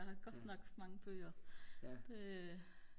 jeg har godt nok mange bøger